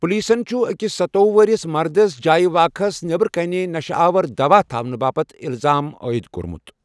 پُلیٖسن چُھ أکِس ستوۄہُ وٕہرِس مردس جایہِ واقعاہس نیٚبرٕ کنہِ نشہٕ آور دَوا تھاونُہٕ باپت اِلزام عٲیِد کوٚرمُت۔